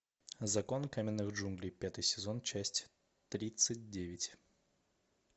закон каменных джунглей пятый сезон часть тридцать девять